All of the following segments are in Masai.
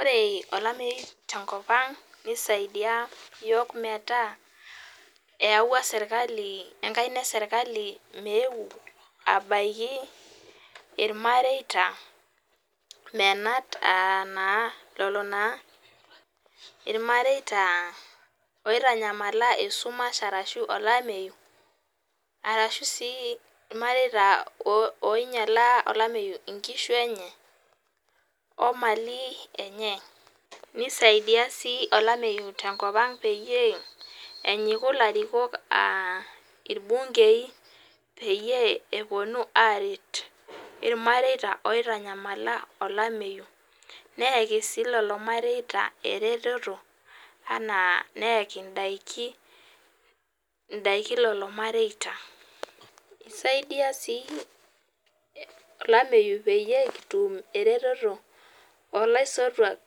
Ore olameyu tenko ang neisaidia iyiok metaa eyawua enkaina eserikali meyeu abaiki ilamareita menat aa anaa lelo naa ilmareita oitanyamala esumash arashu olameyu arashu sii ilmareita oinyala olameyu inshu enye Omani enye neisaidia sii olameyu te nkop ang peyie enyiku ilarikok aa ilbungei peyie epuonu aret ilmateita oitanyamala olameyu are sii lelo mareita eretoto anaa neyaiki indiki lelo mareita isaidia sii olameyu peyie kitu eretoto naing'ua ilaisotuak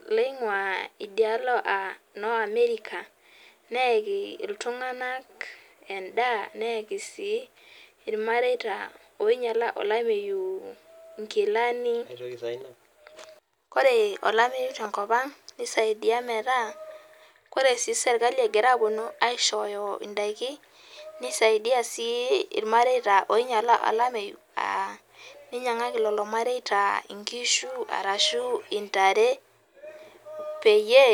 anaa iloinguaa Amerika neyaki iltung'anak endaa neyaki sii ilmareita oinyiala olameyu nkilani ore olameyu te nkop ang neisaidia metaa ore serikali egira apuonu aishoyo indaiki neisaidia sii ilmareita oinyiala olameyu aa nenyiangaki lelo mareita nkishu arashu intare peyie..